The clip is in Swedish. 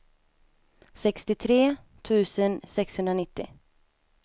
sextiotre tusen sexhundranittio